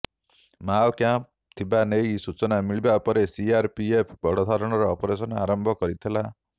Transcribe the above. Mao camp ଥିବା ନେଇ ସୂଚନା ମିଳିବା ପରେ ସିଆରପିଏଫ ବଡ଼ ଧରଣର ଅପରେସନ ଆରମ୍ଭ କରିଥିଲା